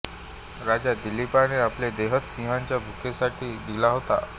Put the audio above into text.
राजा दिलीपाने आपला देहच सिंहाच्या भुकेसाठी दिला होता